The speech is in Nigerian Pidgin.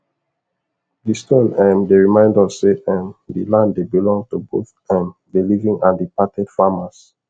the stone um dey remind us say um the land dey belong to both um the living and departed farmers